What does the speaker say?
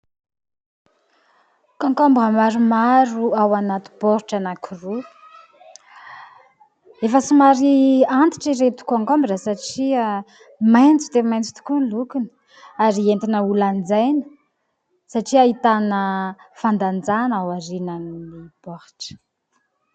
Kaonkaombra maromaro ao anaty baoritra anankiroa. Efa somary antitra ireto kaonkaombra satria maitso de maitso tokoa ny lokony ary entina ho lanjaina satria ahitana fandanjana ao aorian'ny baoritra.